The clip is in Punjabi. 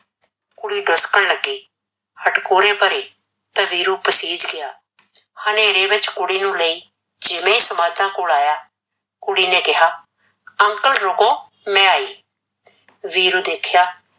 ਕੁੜੀ ਡੁਸਕਣ ਲੱਗੀ, ਹਟਕੋੜੇ ਭਰੇ ਤਾਂ ਵੀਰੂ ਪਸੀਜ ਗਿਆ, ਹਨੇਰੇ ਵਿੱਚ ਕੁੜੀ ਨੂੰ ਲਈ ਜਿਵੇਂ ਸਮਾਧਾਂ ਕੋਲ ਆਇਆ, ਕੁੜੀ ਨੇ ਕਿਹਾ uncle ਰੁਕੋ ਮੈਂ ਆਈ ਵੀਰੂ ਦੇਖਿਆ